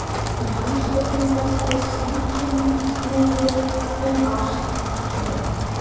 Í hans augum fjallaði samkynhneigð um ást, ekki kynlíf.